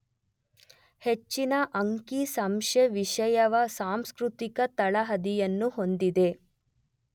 ಹೆಚ್ಚಿನ ಅಂಕಿ ಸಂಖ್ಯೆ ವಿಷಯವು ಸಾಂಸ್ಕೃತಿಕ ತಳಹದಿಯನ್ನು ಹೊಂದಿದೆ.